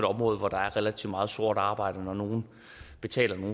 område hvor der er relativt meget sort arbejde altså når nogle betaler